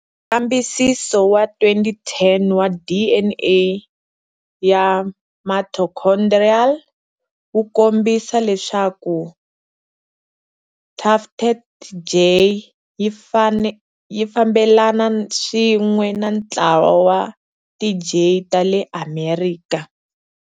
Nkambisiso wa 2010 wa DNA ya mitochondrial wu kombisa leswaku tufted jay yi fambelana swin'we na ntlawa wa ti jay ta le Amerika.